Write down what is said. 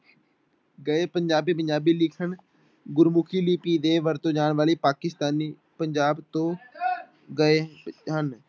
ਗਏ ਪੰਜਾਬੀ ਪੰਜਾਬੀ ਲਿਖਣ ਗੁਰਮੁਖੀ ਲਿਪੀ ਦੇ ਵਰਤੋਂ ਜਾਣ ਵਾਲੀ ਪਾਕਿਸਤਾਨੀ ਪੰਜਾਬ ਤੋਂ ਗਏ ਹਨ।